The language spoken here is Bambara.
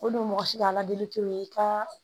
O don mɔgɔ si ka ala deli tɛ i ka